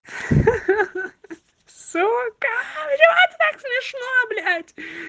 сука блять как смешно блядь